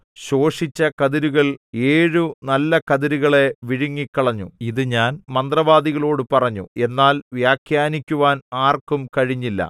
ശോഷിച്ച കതിരുകൾ ഏഴു നല്ല കതിരുകളെ വിഴുങ്ങിക്കളഞ്ഞു ഇതു ഞാൻ മന്ത്രവാദികളോടു പറഞ്ഞു എന്നാൽ വ്യാഖ്യാനിക്കുവാൻ ആർക്കും കഴിഞ്ഞില്ല